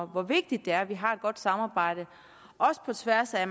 hvor vigtigt det er vi har et godt samarbejde også på tværs af